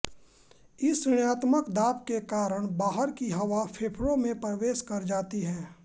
इस ऋणात्मक दाब के कारण बाहार की हवा फेफड़ों में प्रवेश कर जाती है